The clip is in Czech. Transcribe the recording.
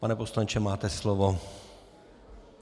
Pane poslanče, máte slovo.